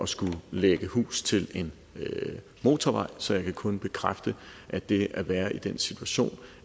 skulle lægge hus til en motorvej så jeg kan kun bekræfte at det at være i den situation